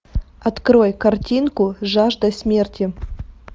открой картинку жажда смерти